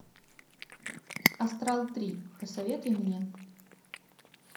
астрал три посоветуй мне